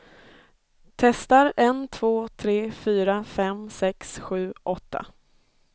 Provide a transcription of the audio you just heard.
Testar en två tre fyra fem sex sju åtta.